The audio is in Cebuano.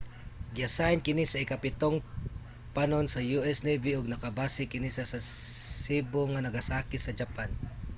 giasayn kini sa ikapitong panon sa u.s. navy ug nakabase kini sa sasebo nagasaki sa japan